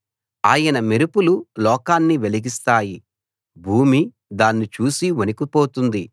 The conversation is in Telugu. ఆయన మెరుపులు లోకాన్ని వెలిగిస్తాయి భూమి దాన్ని చూసి వణికిపోతుంది